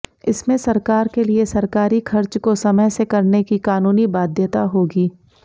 इसमें सरकार के लिए सरकारी खर्च को समय से करने की कानूनी बाध्यता होगी